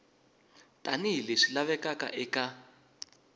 tani hi leswi lavekaka eka